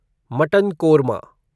mutton korma